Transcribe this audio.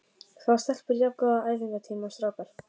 Fá stelpur jafn góða æfingatíma og strákar?